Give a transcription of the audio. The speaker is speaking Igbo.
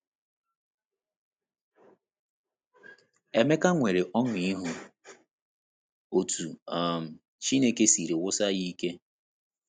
Emeka nwere ọṅụ ịhụ otú um Chineke siri wusi ya ike.